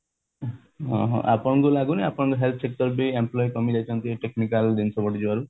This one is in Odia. ହଁ ଆପଣଙ୍କୁ ଲାଗୁନି କି ଆପଣଙ୍କ health sector ବି employee କମି ଯାଇଛନ୍ତି technical ଜିନିଷ ବଢି ଯିବାରୁ